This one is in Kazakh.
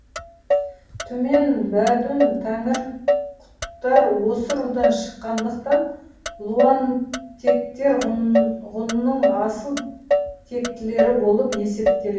түмен бөдүн тәңірқұттар осы рудан шыққандықтан луантектер ғұнның асыл тектілері болып есептеледі